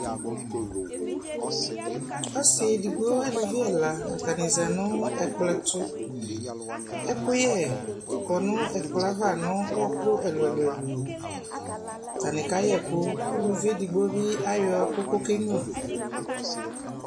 Ɔsi edigbo aluvi ɛla stanɩ zati nʋ ɛkplɔ tʋ Ɛkʋyɛ kɔ nʋ ɛkplɔ yɛ ava nʋ ɔɔkʋ ɛlʋ ɛlʋ ɛlʋ li Atanɩ kayɛkʋ, k'uluvi edigbo bɩ ayɔ ɛkʋ k'okenyua